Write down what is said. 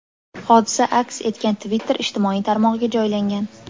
Hodisa aks etgan Twitter ijtimoiy tarmog‘iga joylangan .